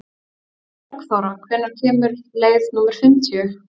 Bergþóra, hvenær kemur leið númer fimmtíu?